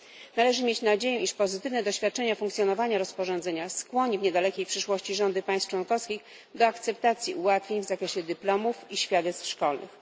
Należy mieć nadzieję, iż pozytywne doświadczenie wyniesione z funkcjonowania rozporządzenia skłoni w niedalekiej przyszłości rządy państw członkowskich do akceptacji ułatwień w zakresie dyplomów i świadectw szkolnych.